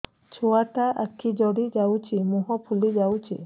ଛୁଆଟା ଆଖି ଜଡ଼ି ଯାଉଛି ମୁହଁ ଫୁଲି ଯାଉଛି